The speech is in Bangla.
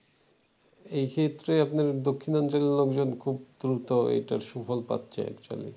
এক্ষেত্রে আপনার দক্ষিণ অঞ্চলের লোকজন খুব দ্রুত এটার সুফল পাচ্ছে actually